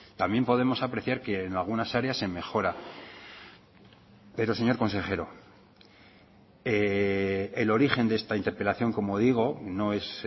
también podemos apreciar que en algunas áreas se mejora pero señor consejero el origen de esta interpelación como digo no es